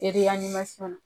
la.